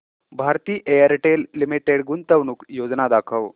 Bharti Airtel limited गुंतवणूक योजना दाखव